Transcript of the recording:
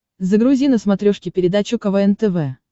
загрузи на смотрешке передачу квн тв